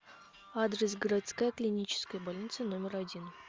адрес городская клиническая больница номер один